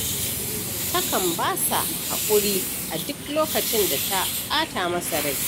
Takan ba shi haƙuri a duk lokacin da ta ɓata masa rai.